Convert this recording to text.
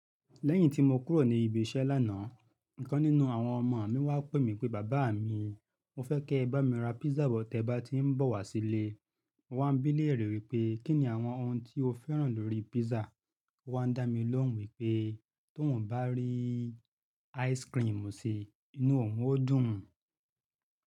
Lẹ́yìn tí mo kúrò ní ibi iṣẹ́ lánàá, ìkan nínú àwọn ọmọ mi wá pè mí pé bàbá mi, mo fẹ́ kí ẹ bá mi ra písà bọ̀ tí ẹ bá ti ń bọ̀ wá sílé. Mo wá bí léèrè wípé kí ni àwọn oun tí o fẹ́ràn lórí písà. Ó wá ń dá mi lóhùn wípé tóun bá rí ice-cream sí inú òun, ó dùn ún.